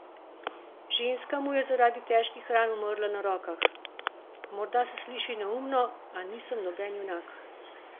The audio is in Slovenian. Ženska mu je zaradi težkih ran umrla na rokah: "Morda se sliši neumno, a nisem noben junak.